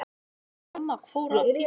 Rafmagn fór af Tívolí